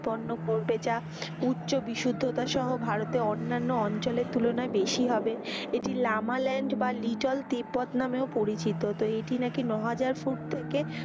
পণ্য পড়বে যা উচ্চ বিশুদ্ধতা সহ ভারতে অনান্য অঞ্চলের তুলনায় বেশি হবে, এটি লামাল্যন্ড বা লিটল তিব্বত নামেও পরিচিত। তো এটি নাকি ন হাজার ফুট থেকে,